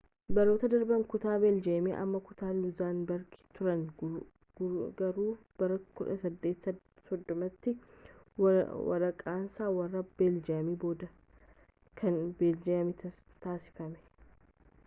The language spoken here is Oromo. baroota darbaanitti kutaa beeljem ammaa kutaa luuzeenbergi turan garuu bara 1830tti warraqsaa warraa beeljemiin booda, kan beeljem taasifame